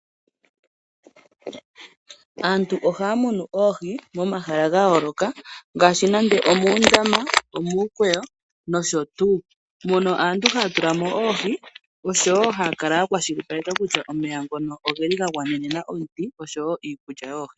Aantu ohaya munu oohi momahala ga yooloka ngaashi nande omuundama, omuukweyo nosho tu. Mono aantu haya tula mo oohi osho wo ha ya kala ya kwashilipaleka kutya omeya ngono ogeliga gwanena oohi osho wo iikulya yoohi.